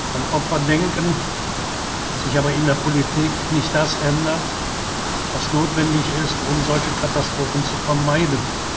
wieder an Opfer denken, sich aber in der Politik nicht das ändert, was notwendig ist, um solche Katastrophen zu vermeiden.